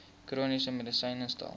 chroniese medisyne tel